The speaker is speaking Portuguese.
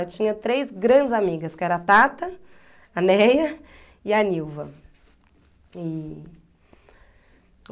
Eu tinha três grandes amigas, que era a Tata, a Neia e a Nilva.